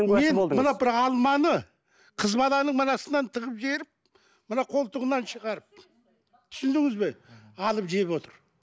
мен мына бір алманы қыз баланың мынасынан тығып жіберіп мына қолтығынан шығарып түсіндіңіз бе алып жеп отыр